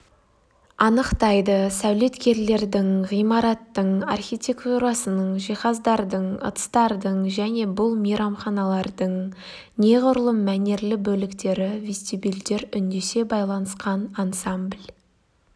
анықтайды сәулеткерлердің ғимараттың архитектурасының жиһаздардың ыдыстардың және бұл мейрамханалардың неғұрлым мәнерлі бөліктері вестибюльдер үндесе байланысқан ансамбль